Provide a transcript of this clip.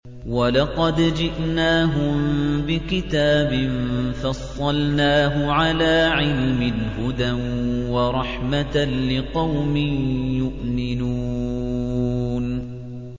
وَلَقَدْ جِئْنَاهُم بِكِتَابٍ فَصَّلْنَاهُ عَلَىٰ عِلْمٍ هُدًى وَرَحْمَةً لِّقَوْمٍ يُؤْمِنُونَ